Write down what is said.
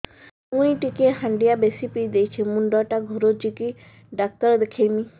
ମୁଇ ଟିକେ ହାଣ୍ଡିଆ ବେଶି ପିଇ ଦେଇଛି ମୁଣ୍ଡ ଟା ଘୁରୁଚି କି ଡାକ୍ତର ଦେଖେଇମି